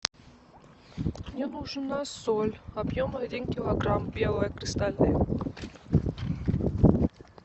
мне нужна соль объем один килограмм белая кристальная